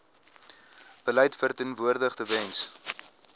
beleid verteenwoordig tewens